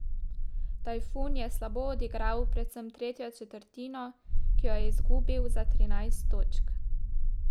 Tajfun je slabo odigral predvsem tretjo četrtino, ki jo je izgubil za trinajst točk.